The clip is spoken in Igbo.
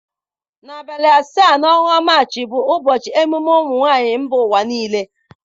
Na abalị asatọ na ọnwa Maachị bụ ụbọchị emume ụmụnwaanyị mba ụwa niile.